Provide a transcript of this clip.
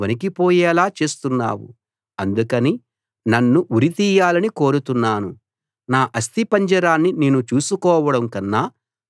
అందుకని నన్ను ఉరి తీయాలని కోరుతున్నాను నా అస్థిపంజరాన్ని నేను చూసుకోవడం కన్నా చనిపోవడమే నాకు ఇష్టం